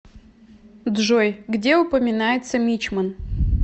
джой где упоминается мичман